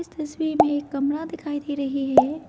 तस्वीर में एक कमरा दिखाई दे रही है।